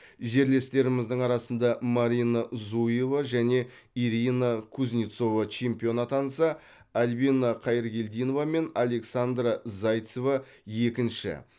жерлестеріміздің арасында марина зуева және ирина кузнецова чемпион атанса альбина қайыргелдинова мен александра зайцева екінші